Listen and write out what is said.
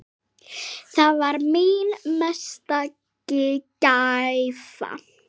Það var mín mesta gæfa.